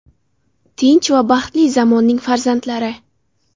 Tinch va baxtli zamonning farzandlari.